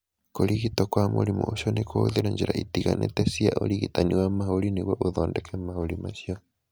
Kũrigitwo kwa mũrimũ ũcio nĩ kũhũthĩrũo njĩra itiganĩte cia ũrigitani wa mahũri nĩguo ũthondeke mahũri macio.